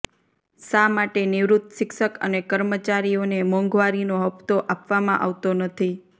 શા માટે નિવૃત શિક્ષક અને કર્મચારીઓને મોંઘવારીનો હપ્તો આપવામાં આવતો નથી